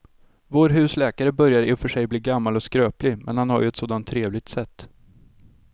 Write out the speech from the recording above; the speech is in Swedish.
Vår husläkare börjar i och för sig bli gammal och skröplig, men han har ju ett sådant trevligt sätt!